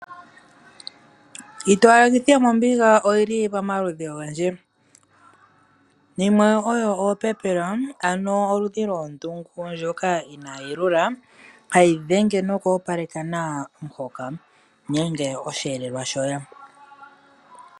Iitowalekithi yomombiga oyili pamaludhi ogendji, yimwe oyo opepela ano olushi lwondungu ndjoka inaa yi lula, hayi dhenge noku opaleka nawa omuhoka nenge osheelelwa.